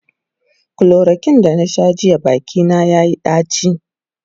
chloroquine da na Sha jiya Baki na yayi daci